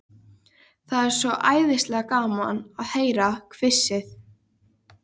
Það er svo æðislega gaman að heyra hvissið.